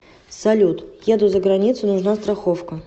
салют еду за границу нужна страховка